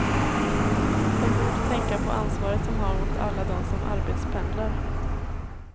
De borde tänka på ansvaret de har mot alla dem som arbetspendlar.